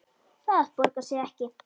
Það borgar sig ekki